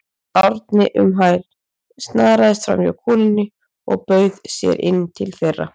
Árni um hæl, snaraðist framhjá konunni og bauð sér inn til þeirra.